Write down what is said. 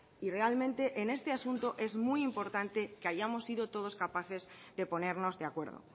y realmente en este asunto es muy importante que hayamos sido todos capaces de ponernos de acuerdo